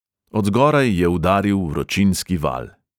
Od zgoraj je udaril vročinski val.